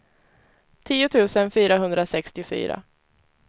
tio tusen fyrahundrasextiofyra